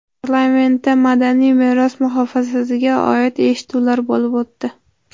Parlamentda madaniy meros muhofazasiga oid eshituvlar bo‘lib o‘tdi.